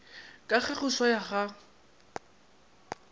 ka ge go swaya ga